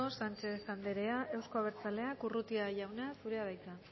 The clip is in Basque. sánchez anderea euzko abertzaleak urrutia jauna zurea da hitza